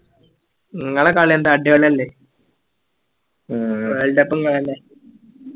നിങ്ങളെ കളി എന്താ അടിപൊളി അല്ലേ world cup ഉം നിങ്ങളല്ലേ